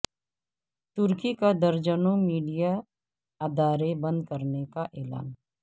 ترکی کا درجنوں میڈیا ادارے بند کرنے کا اعلان